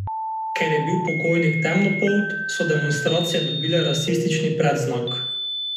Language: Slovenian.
Ker je bil pokojnik temnopolt, so demonstracije dobile rasistični predznak.